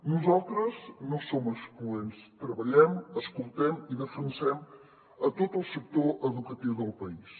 nosaltres no som excloents treballem escoltem i defensem a tot el sector educatiu del país